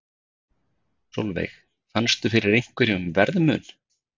Sólveig: Fannstu fyrir einhverjum verðmun?